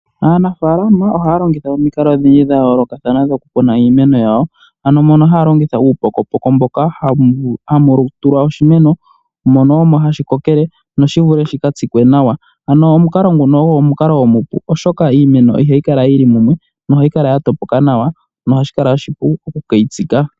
Aanafalama ohaya longitha omikalo odhindji dha yooloka dhoku kuna iimeno yawo. Ano mono haya longitha uupokopoko mboka hamu tulwa oshimeno mono omo hashi ko kele noshi vule shika tsikwe nawa, ano omukalo ogo omukalo omupu, oshoka iimeno ihaya kala yili mumwe nohayi kala ya topoka nawa ohashi kala oshipu oku keyi tsika.